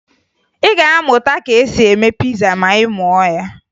Ị ga-amụta ka e si eme piza ma ị mụọ ya